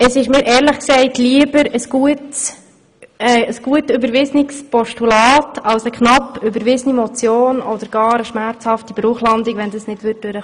Mir ist ehrlich gesagt ein gut überwiesenes Postulat lieber als eine knapp überwiesene Motion oder gar eine schmerzhafte Bruchlandung, falls die Motion nicht durchkäme.